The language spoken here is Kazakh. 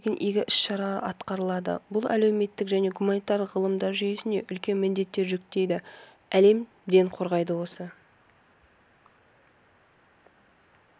бұл бағытта көптеген игі іс-шаралар атқарылды бұл әлеуметтік және гуманитарлық ғылымдар жүйесіне үлкен міндеттер жүктейді әлем ден қойған осы